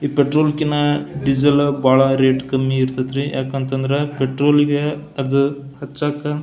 ಈ ಪೆಟ್ರೋಲ್ ಕಿನ ಡೀಸೆಲ್ ಬಹಳ ರೇಟ್ ಕಮ್ಮಿ ಇರತೈತ್ರಿ ಯಾಕಂದ್ರ ಪೆಟ್ರೋಲ್ಗೆ ಅದು ಹಚ್ಚಾಕ --